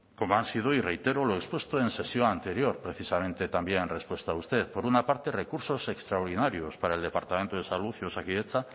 como han sido y reitero lo expuesto en sesión anterior precisamente también en respuesta a usted por una parte recursos extraordinarios para el departamendo de salud y osakidetza